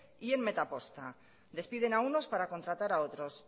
y en metaposta despiden a unos para contratar a otros